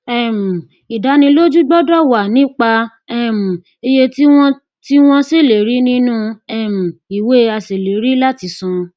um ìdánilójú gbọdọ wà nípa um iye tí wọn tí wọn ṣèlérí nínú um ìwé aṣèlérí láti san